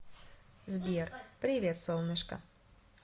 сбер привет солнышко